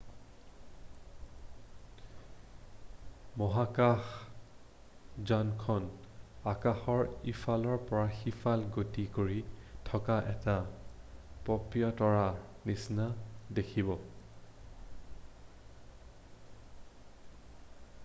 মহাকাশযানখন আকাশৰ ইফালৰ পৰা সিফালে গতি কৰি থকা এটা পপীয়াতৰাৰ নিচিনা দেখিব